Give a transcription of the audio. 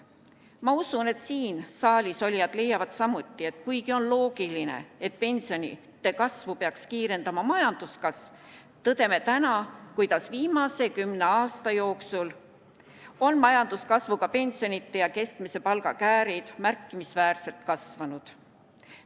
Ma usun, et saalisolijad leiavad samuti, et kuigi on loogiline, et pensionide kasvu peaks kiirendama majanduskasv, tõdeme täna, kuidas viimase kümne aasta jooksul on majanduskasvuga pensionide ja keskmise palga käärid märkimisväärselt kasvanud.